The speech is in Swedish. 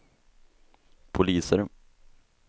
poliser